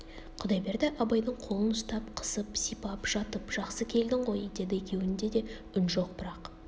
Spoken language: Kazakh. құдайберді абайдың қолын ұстап қысып сипап жатып жақсы келдің ғой деді екеуінде де үн жоқ бірақ